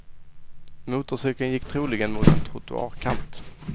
Motorcykeln gick troligen mot en trottoarkant.